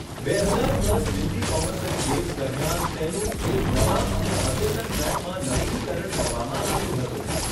બે હજાર દસ દિલ્હી કોમનવેલ્થ ગેમ્સ દરમિયાન તેનું એક નવા અને અદ્યતન ટ્રેકમાં નવીનીકરણ કરવામાં આવ્યું હતું.